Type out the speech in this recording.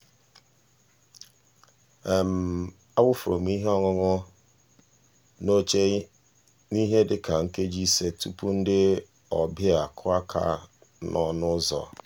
a wụfuru m ihe ọṅụṅụ n'oche n'ihe dịka nkeji ise tụpụ ndị ọbịa akụọ aka n'ọnụ ụzọ.